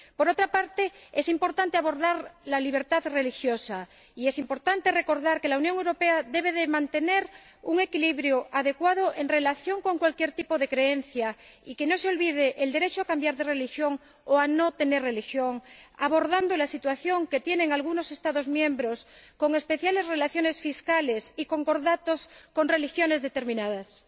Por otra parte, es importante abordar la libertad religiosa, así como recordar que la Unión Europea debe mantener un equilibrio adecuado en relación con cualquier tipo de creencia, y que no se olvide el derecho a cambiar de religión o a no tener religión, abordando la situación de algunos Estados miembros con especiales relaciones fiscales y concordatos con determinadas religiones.